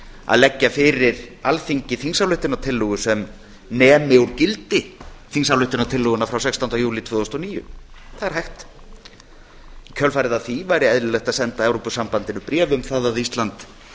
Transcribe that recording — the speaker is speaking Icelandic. að leggja fyrir alþingi þingsályktunartillögu sem nemi úr gildi þingsályktunartillöguna frá sextánda júlí tvö þúsund og níu það er hægt í kjölfarið á því væri hægt að senda evrópusambandinu bréf um það að ísland